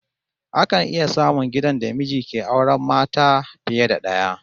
Akan iya samun gidan da miji ke auren mata fiye da daya